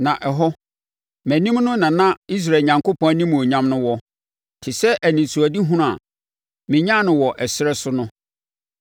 Na ɛhɔ, mʼanim no na na Israel Onyankopɔn animuonyam wɔ, te sɛ anisoadehunu a menyaa no wɔ ɛserɛ so no.